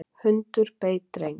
Hundur beit dreng